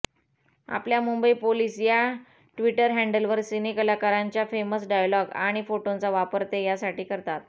आपल्या मुंबई पोलीस या ट्विटर हँडलवर सिनेकलाकारांच्या फेमस डायलॉग आणि फोटोंचा वापर ते यासाठी करतात